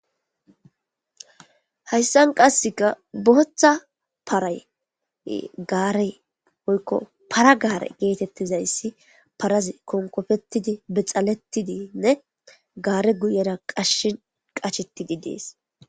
Haysan qaseka bootha paray gaare woyko para gare getetizaysi parazi konkopetide , boxaletidinne gare guyera qachetidi Desi.